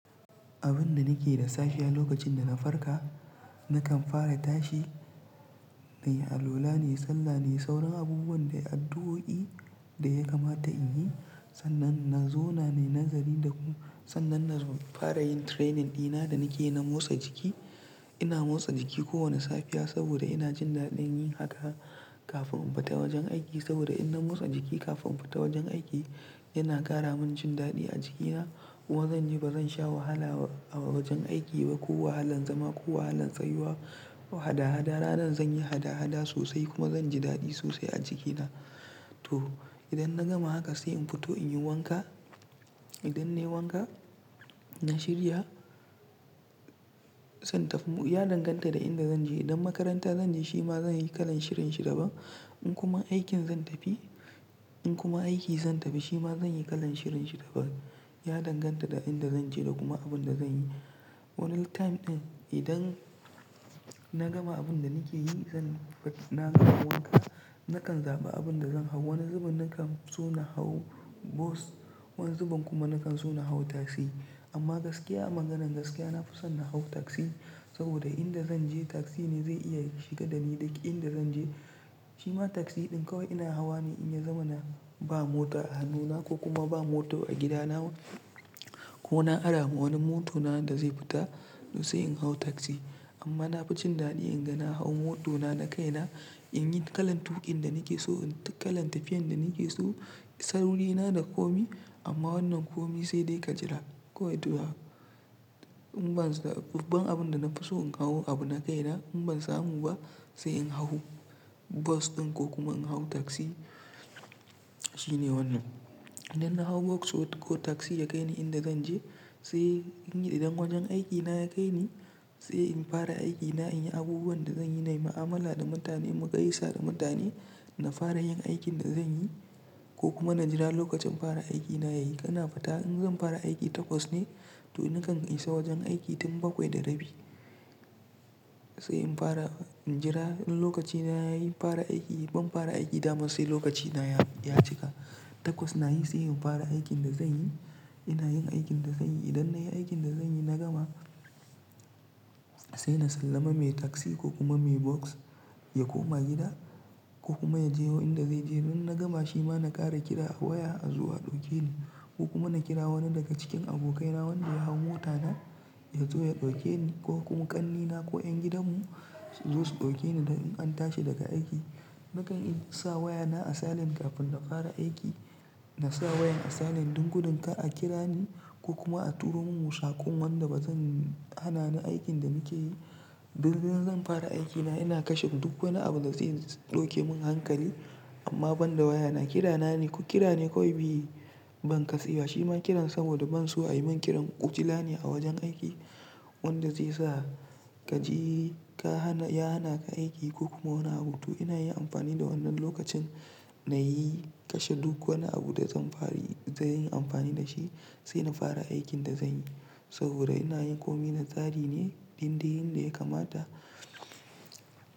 Abin da nake da sahiya lokacin da na farka nakan fara tashi, nayi alwala ne, sallah ne, sauran abubuwan dai addu'o'i da ya kamata in yi sannan na zo na yi nazari da kuma sannan na fara yin training dina da nake na motsa jiki. Ina motsa jiki kowane safiya saboda ina jin daɗin yin haka kafin in fita wajen aiki saboda idan na motsa jiki kafin in fita wajen aiki yana ƙara min jin daɗi a jikina. Kuma zan ji ba zan sha wahala a wajen aiki ba ko wahalan zama ko wahalan tsayuwa hada-hada. Ranar zan yi hada-hada sosai kuma zan ji daɗi sosai a jikina. To idan na gama haka sai in fito in yi wanka. Idan nayi wanka, na shirya zan tafi. Ya danganta da inda zan je. Idan makaranta zan je shi ma zan yi kalan shirin shi daban. In kuma aikin zan tafi, in kuma aiki zan tafi shi ma zan yi kalan shirin shi daban. Ya danganta da inda zan je da kuma abin da zan yi. Wani time ɗin idan na gama abin da nake yi zan na gama wanka. Nakan zaɓa abin da zan hau. Wani zubin nakan so na hau bos, wani zubin kuma nakan so na hau taksi. Amma gaskiya a maganan gaskiya na fi so na hau taksi saboda inda zan je taksi ne zai iya shiga da ni duk inda zan je. Shi ma taksi ɗin kawai ina hawa ne in ya zama na ba mota a hannuna ko kuma ba mota a gidana ko na ara wani mota na da zai fita tosai in hau taksi. Amma na fi jin daɗi in ga na hau motona na kaina, in yi kalan tuƙin da nake so, kalan tafiyan da nake so. Sauri na da komai amma wannan komai sai dai ka jira. Ko to in ban, babban abin da na fi so in hau abu na kaina in ban samu ba sai in hau bos ɗin ko kuma in hau taksi. Shine wannan. Idan na hau bos ko taksi ya kai ni inda zan je sai in yi idan wajen aikina ya kai ni sai in fara aikina, in yi abubuwan da zan yi, na yi mu'amala da mutane, mugayasa da mutane, na fara yin aikin da zan yi ko kuma na jira lokacin fara aikina yayi. Ina fita in zan fara aiki takwas ne to nakan isa wajen aiki tun bakwai da rabi. Sai in fara, in jira lokaci na yayi fara aiki. Ban fara aiki da ma sai lokaci na ya cika. Takwas na yi sai in fara aikin da zan yi. Ina yin aikin da zan yi. Idan na yi aikin da zan yi na gama sai na sallama mai taksi ko kuma mai bos ya koma gida ko kuma ya je wa inda zai je. Idan na gama shi ma na ƙara kira a waya a zo a ɗauke ni ko kuma na kira wani daga cikin abokaina wanda ya hau mota nan ya zo ya ɗauke ni ko kuma ƙannena ko ƴan gidanmu su zo su ɗauke ni in an tashi daga aiki. Nakan in sa wayana a silent kafin na ƙara aiki. Na sa wayan a silent don gudun ka a kira ni ko kuma a turo min saƙon wanda ba zan hana ni aikin da nake yi. Don in zan fara aikina ina kashe duk wani abu da zai ɗauke mun hankali. Amma ban da wayana, kira na ne. Ku kira ni kawai biyu ban ƙasi ba. Shi ma kiran saboda ban so a yi min kiran ujila ne a wajen aiki wanda zai sa ka ji ka hana, ya hana ka aiki ko kuma wani abu to. Ina yi amfani da wannan lokacin na yi kashe duk wani abu da zan bari zai yi amfani da shi sai na fara aikin da zan yi saboda ina yin komai na tsari ne dindayin da ya kamata.